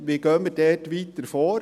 Wie gehen wir hier weiter vor?